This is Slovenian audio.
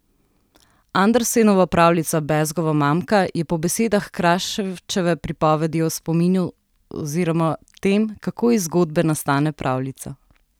Andersenova pravljica Bezgova mamka je po besedah Kraševčeve pripoved o spominu oziroma tem, kako iz zgodbe nastane pravljica.